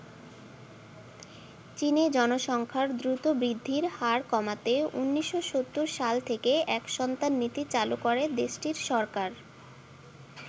চীনে জনসংখ্যার দ্রুত বৃদ্ধির হার কমাতে ১৯৭০ সাল থেকে এক সন্তান নীতি চালু করে দেশটির সরকার।